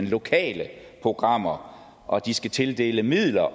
lokale programmer og de skal tildele midler